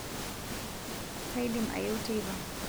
kaidim ayeu teipa